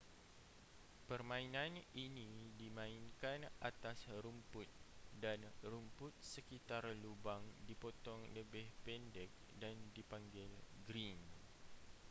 permainan ini dimainkan atas rumput dan rumput sekitar lubang dipotong lebih pendek dan dipanggil green